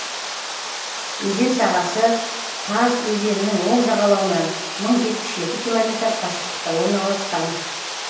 өзен сағасы таз өзенінің оң жағалауынан мың жетпіс жеті километр қашықтықта орналасқан